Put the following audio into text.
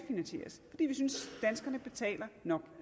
synes nemlig danskerne betaler nok